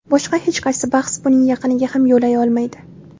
Boshqa hech qaysi bahs buning yaqiniga ham yo‘lay olmaydi”.